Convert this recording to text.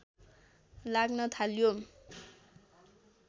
लाग्न थाल्यो